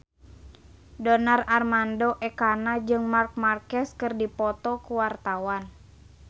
Donar Armando Ekana jeung Marc Marquez keur dipoto ku wartawan